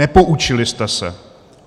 Nepoučili jste se.